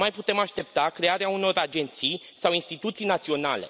Nu mai putem aștepta crearea unor agenții sau instituții naționale.